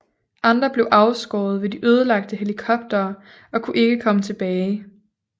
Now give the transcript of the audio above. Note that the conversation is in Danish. Andre blev afskåret ved de ødelagte helikoptere og kunne ikke komme tilbage